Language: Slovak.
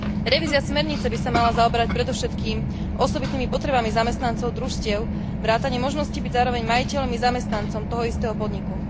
Revízia smernice by sa mala zaoberať predovšetkým osobitnými potrebami zamestnancov družstiev vrátane možnosti byť zároveň majiteľom i zamestnancom toho istého podniku.